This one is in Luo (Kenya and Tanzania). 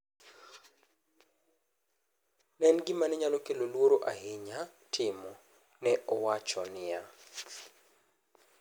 “Ne en gima ne nyalo kelo luoro ahinya timo”, nowacho niya.